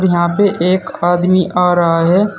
और यहां पे एक आदमी आ रहा है।